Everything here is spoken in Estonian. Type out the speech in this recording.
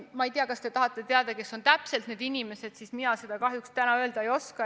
Ma ei tea, kas te tahate teada, kes on täpselt need inimesed, kes hakkavad otsustama, kas mõnes saates õhutatakse viha või ei õhutata.